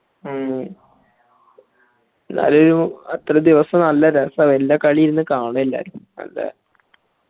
മ്മ് എന്നാലും ഒരു അത്രേദിവസം നല്ല രാസ വെല്യ കളി ഇരുന്ന് കാണും എല്ലാരും അതെ